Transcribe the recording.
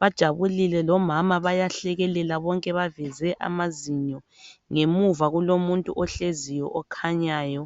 bajabulile lomama bayahlekelela bonke baveze amazinyo ngemuva kulomuntu ohleziyo okhanyayo.